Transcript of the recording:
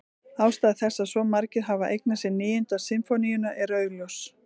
Ástæða þess að svo margir hafa eignað sér Níundu sinfóníuna er augljós.